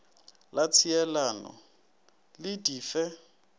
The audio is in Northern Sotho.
la tšhielano le di fe